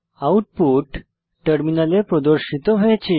output টার্মিনালে প্রদর্শিত হয়েছে